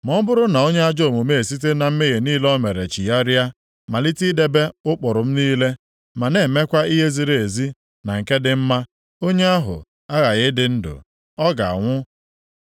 “Ma ọ bụrụ na onye ajọ omume esite na mmehie niile o mere chigharịa, malite idebe ụkpụrụ m niile, ma na-emekwa ihe ziri ezi na nke dị mma, onye ahụ aghaghị ịdị ndụ, ọ gaghị anwụ.